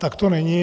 Tak to není.